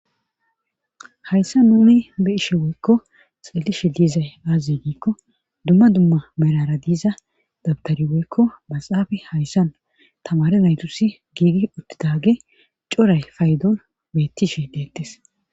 Hayssa nuni be ishe woykko xelishe liizay aazze giikko dumma dumma merara diiza dabtari woykko baxaafi hayssan tamare naytusi giidi uttidage coray faydoon beettishe deettes.